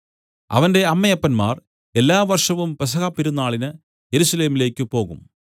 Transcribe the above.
അവന്റെ അമ്മയപ്പന്മാർ എല്ലാ വർഷവും പെസഹ പെരുന്നാളിന് യെരൂശലേമിലേക്കു പോകും